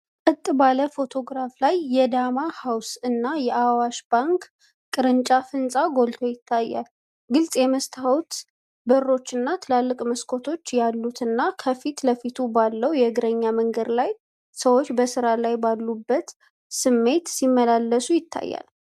ቀጥ ባለ ፎቶግራፍ ላይ፣ የ"ዳማ ሃውስ" እና የአዋሽ ባንክ ቅርንጫፍ ህንጻ ጎልቶ ይታያል። ግልጽ የመስታወት በሮችና ትልልቅ መስኮቶች ያሉትና፣ ከፊት ለፊቱ ባለው የእግረኛ መንገድ ላይ ሰዎች በሥራ ላይ ባሉበት ስሜት ሲመላለሱ ይታያል።